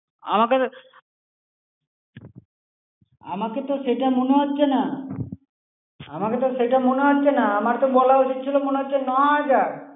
আমাকে তো, আমার কিন্তু সেটা মনে হচ্ছে না। আমার কিন্তু সেটা মনে হোচ্ছে না. আমার তো বলা উচিত ছিল মনে হচ্ছে ন-হাজার।